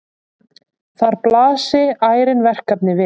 Þar blasi ærin verkefni við.